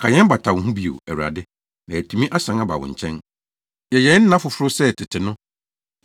Ka yɛn bata wo ho bio, Awurade, na yɛatumi asan aba wo nkyɛn; yɛ yɛn nna foforo sɛ tete no